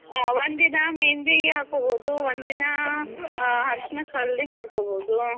ಹಾ ಒಂದ್ ದಿನಾ ಮೆಹಂದಿ ಹಾಕ್ಬೋದು, ಒಂದ್ ದಿನಾ ಅ ಹರಿಷಿನಕ್ हल्दी ಮಾಡ್ಕೋಬೋದು.